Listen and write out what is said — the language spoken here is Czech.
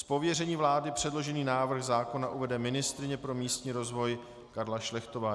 Z pověření vlády předložený návrh zákona uvede ministryně pro místní rozvoj Karla Šlechtová.